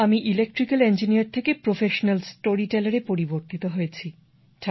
আমি electrical engineer থেকে professional স্টোরিটেলারে পরিবর্তিত হয়েছি